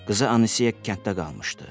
Qızı Anisiyə kənddə qalmışdı.